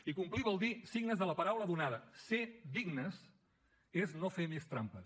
i complir vol dir ser dignes de la paraula donada ser dignes és no fer més trampes